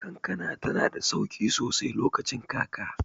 Kankana tanada sauƙi sosai lokacin kaka.